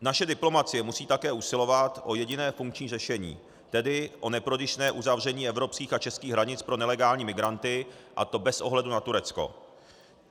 Naše diplomacie musí také usilovat o jediné funkční řešení, tedy o neprodyšné uzavření evropských a českých hranic pro nelegální migranty, a to bez ohledu na Turecko.